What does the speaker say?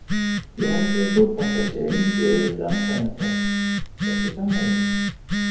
Ég held að í fótbolta séu engir auðveldir andstæðingar Besti samherjinn?